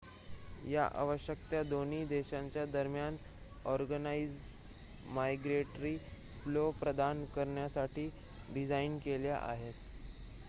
या आवश्यकता दोन्ही देशांच्या दरम्यान ऑर्गनाइझ माइग्रेटरी फ्लो प्रदान करण्यासाठी डिझाईन केल्या आहेत